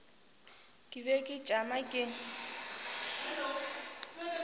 ke be ke tšama ke